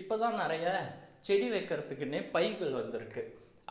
இப்பதான் நிறைய செடி வைக்கிறதுக்குன்னே பைகள் வந்திருக்கு